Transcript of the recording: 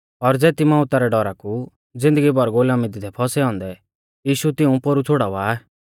और ज़ेती मौउता रै डौरा कु ज़िन्दगी भर गुलामी दी थै फौसै औन्दै यीशु तिऊं पोरु छ़ुड़ावा